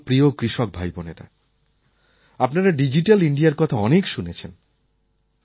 আমার প্রিয় কৃষক ভাইবোনেরা আপনারা ডিজিট্যাল ইণ্ডিয়ার কথা অনেক শুনেছেন